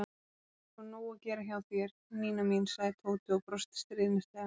Það er sko nóg að gera hjá þér, Nína mín sagði Tóti og brosti stríðnislega.